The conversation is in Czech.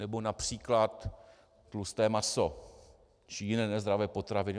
Nebo například tlusté maso či jiné nezdravé potraviny?